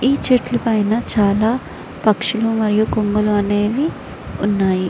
ఈ చెట్లు పైన చాల పక్షులు మరియు కొంగలు అనేవి ఉన్నాయి.